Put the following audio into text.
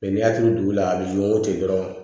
n'i y'a tugu dugu la a b'i wo ten dɔrɔn